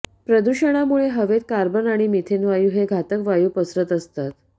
प्रदूषणामुळे हवेत कार्बन आणि मिथेन वायू हे घातक वायू पसरत असतात